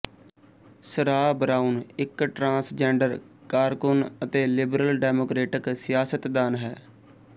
ਸਰਾਹ Brown ਇੱਕ transgender ਕਾਰਕੁਨ ਅਤੇ ਲਿਬਰਲ ਡੈਮੋਕ੍ਰੇਟਕ ਸਿਆਸਤਦਾਨ ਹੈ